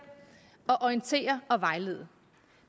at orientere og vejlede